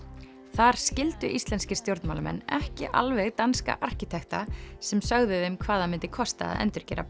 þar skildu íslenskir stjórnmálamenn ekki alveg danska arkitekta sem sögðu þeim hvað það myndi kosta að endurgera